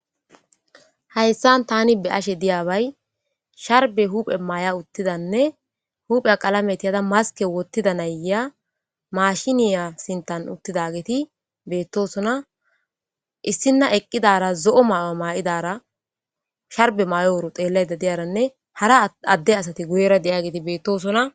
Hayssan tani be ashe diyabay sharbe huphe maay7a uttidanne huphe qalametiyhada maske wottida nayya mashiniya sintan uttida geeti beettosona issinna eqqidara zo7o may7o maa7idara sharbe may7oworo xeellayda diyaranne hara adde asati guyera de7a geeti beettosona